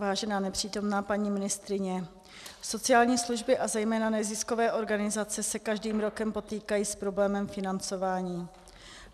Vážená nepřítomná paní ministryně, sociální služby a zejména neziskové organizace se každým rokem potýkají s problémem financování.